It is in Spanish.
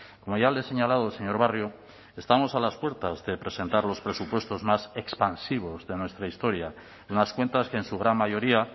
como ya le he señalado señor barrio estamos a las puertas de presentar los presupuestos más expansivos de nuestra historia unas cuentas que en su gran mayoría